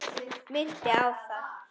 Minnti á það.